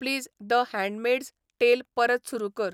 please the handmades टेल परत सुरू कर